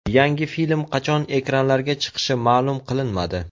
Yangi film qachon ekranlarga chiqishi ma’lum qilinmadi.